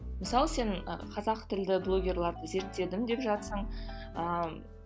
мысалы сен ы қазақ тілді блогерларды зерттедім деп жатырсың ыыы